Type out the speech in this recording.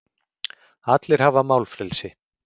Allir hafa málfrelsi.